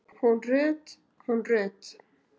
Hún Rut, hún Rut!